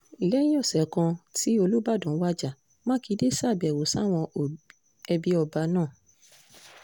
lẹ́yìn ọ̀sẹ̀ kan tí olùbàdàn wájà mákindè ṣàbẹ̀wò sáwọn ẹbí ọba náà